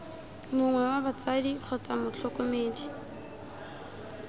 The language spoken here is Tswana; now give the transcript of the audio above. mongwe wa batsadi kgotsa motlhokomedi